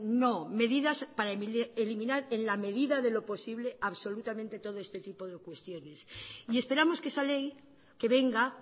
no medidas para eliminar en la medida de lo posible absolutamente todo este tipo de cuestiones y esperamos que esa ley que venga